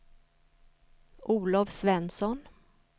Olov Svensson